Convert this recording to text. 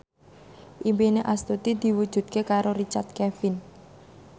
impine Astuti diwujudke karo Richard Kevin